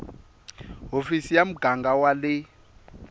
hofisi ya muganga wa le